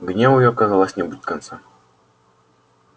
гневу её казалось не будет конца